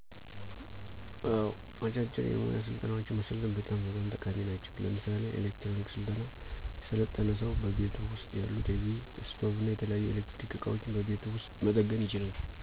አወ፥ አጫጭር የሞያ ስልጠናወችን መሰልጠን በጣም በጣም ጠቃሚ ናቸው። ለምሳሌ፦ ኤሌክትሮኒክ ስልጠና የሰለጠነ ሰው በቤቱ ውስጥ ያሉ ቲቪ፣ ስቶቭና የተለያዩ የኤሌክትሮኒክ እቃወችን በቤቱ ውስጥ መጠገን ይችላል።